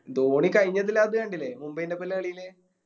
ധോണി കയിഞ്ഞ ഇതിൻ്റെത്ത് കണ്ടീല്ല മുംബൈൻറെ ഒപ്പോലെ കളില്